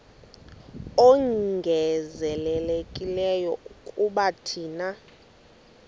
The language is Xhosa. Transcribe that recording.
ongezelelekileyo kuba thina